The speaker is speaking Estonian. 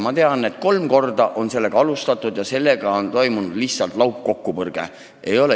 Ma tean, et kolm korda on seda alustatud ja tagajärg on olnud lihtsalt laupkokkupõrge.